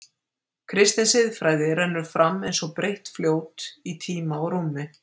Kristin siðfræði rennur fram eins og breitt fljót í tíma og rúmi.